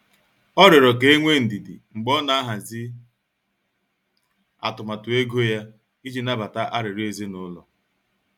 Ọ riọrọ ka enwee ndidi mgbe ọ na-ahazi atụmatụ ego ya iji nabata arịriọ ezinụlọ.